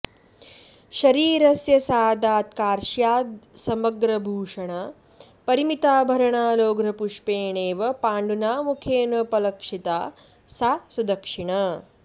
शरीरस्य सादात् कार्श्यादसमग्रभुषणा परिमिताभरणा लोघ्रपुष्पेणेव पाण्डुना मुखेनोपलक्षिता सा सुदक्षिणा